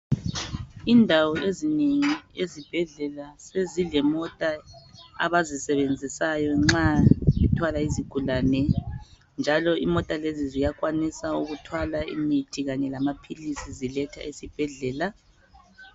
Indawo ezinengi ezibhedlela sezilemota abazisebenzisayo nxa bethwala izigulane njalo imota lezi ziyakwanisa ukuthwala imithi kanye lamaphilisi ziletha esibhedlela .